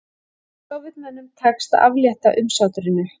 Sovétmönnum tekst að aflétta umsátrinu